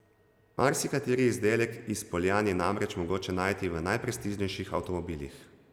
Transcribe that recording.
Marsikateri izdelek iz Poljan je namreč mogoče najti v najprestižnejših avtomobilih.